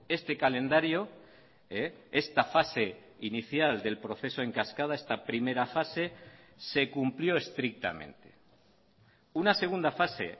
este calendario esta fase inicial del proceso en cascada esta primera fase se cumplió estrictamente una segunda fase